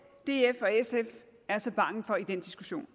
df og sf er så bange for i den diskussion